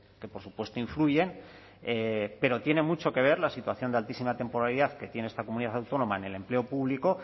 que por supuesto influyen pero tiene mucho que ver la situación de altísima temporalidad que tiene esta comunidad autónoma en el empleo público